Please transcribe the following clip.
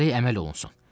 Gərək əməl olunsun.